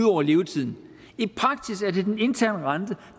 over levetiden i praksis er det den interne rente